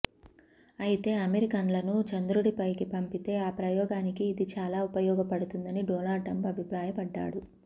అయితే అమెరికన్లను చంద్రుడిపైకి పంపితే ఆ ప్రయోగానికి ఇది చాలా ఉపయోగపడుతుందని డొనాల్డ్ ట్రంప్ అభిప్రాయపడ్డారు